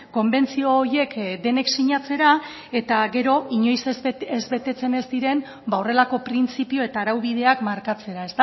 konbentzio horiek denek sinatzera eta gero inoiz ez betetzen ez diren horrelako printzipio eta araubideak markatzera